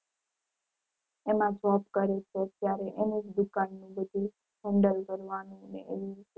એમાં job કરે છે અત્યારે એની જ દુકાન ને બધુ handle કરવાનું એ એવી રીતે.